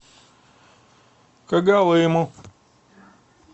когалыму